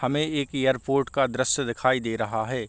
हमें एक एयरपोर्ट का दृश्य दिखाई दे रहा है।